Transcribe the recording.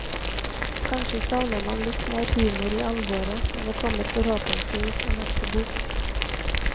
Kanskje savner man litt mer humor i alvoret, men det kommer forhåpentlig i neste bok.